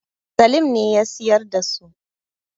Salim ne siyar da su.